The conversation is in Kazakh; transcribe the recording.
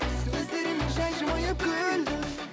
сөздеріме жай жымиып күлдің